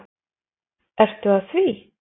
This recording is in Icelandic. Ertu að því?